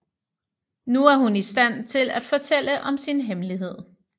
Nu er hun i stand til at fortælle om sin hemmelighed